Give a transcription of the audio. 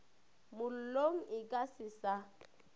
mollong e ka se sa